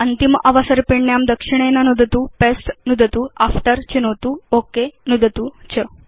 अन्तिम अवसर्पिण्यां दक्षिणेन नुदतु जीटीजीटी पस्ते नुदतु जीटीजीटी आफ्टर् चिनोतु ओक नुदतु च